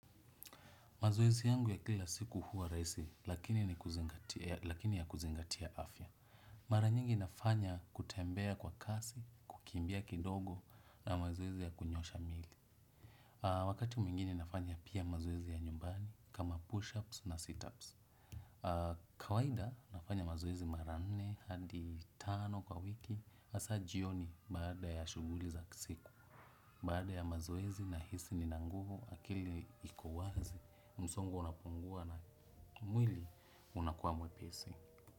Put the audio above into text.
Mazoezi yangu ya kila siku huwa rahisi, lakini ya kuzingatia afya. Mara nyingi nafanya kutembea kwa kasi, kukimbia kidogo na mazoezi ya kunyoosha mili. Wakati mwingine nafanya pia mazoezi ya nyumbani kama push-ups na sit-ups. Kawaida nafanya mazoezi mara nne hadi tano kwa wiki, hasa jioni baada ya shughuli za siku. Baada ya mazoezi nahisi nina nguvu akili iko wazi, msongo unapungua na mwili unakuwa mwepesi.